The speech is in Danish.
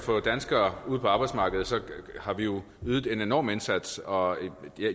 at få danskere ud på arbejdsmarkedet har vi jo ydet en enorm indsats og